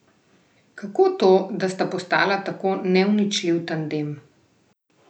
Kako to, da sta postala tako neuničljiv tandem?